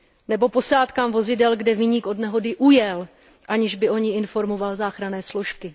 Nebo posádkám vozidel, kde viník od nehody ujel, aniž by o ní informoval záchranné složky.